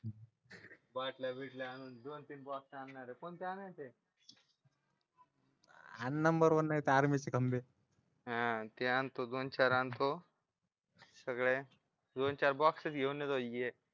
बाटल्या भेटल्या आणून दोन तीन बॉक्स आणणार आहे कोणते आणायचे आणि नंबर वन नाही तर आर्मीचे खंबे हा ते आणतो दोन-चार आणतो सगळ्या दोन-चार बॉक्सच घेऊन येतो